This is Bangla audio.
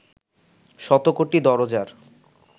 শত কোটি দরোজার